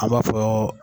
An b'a fɔ